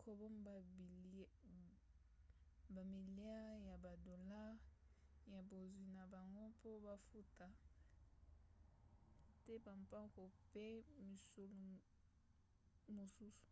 kobomba bamiliare ya badolare ya bozwi na bango mpo bafuta te bampako mpe misolo mosusu